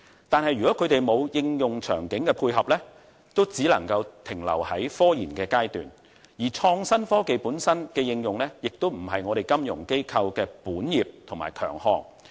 但是，如果他們沒有應用場境的配合，則只能夠停留在科研階段，而創新科技本身的應用亦非金融機構的本業及強項。